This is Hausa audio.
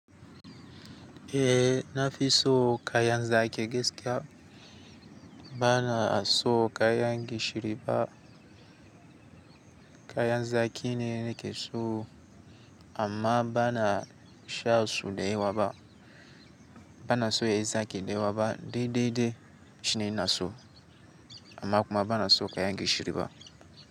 Eh, nafi so kayan zaki gaskiya bana so kayan gishiri ba kayan zaki ne nekeso amma bana sha su da ya waba. Bana so yayi zaki da yawaba, de de de shine ina so amma kuma bana so kayan gishiri ba.